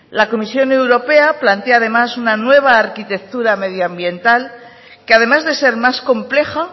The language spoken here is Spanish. la comisión europea plantea además una nueva arquitectura medioambiental que además de ser más compleja